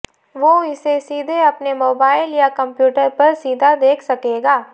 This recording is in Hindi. वो इसे सीधे अपने मोबाइल या कंप्यूटर पर सीधा देख सकेगा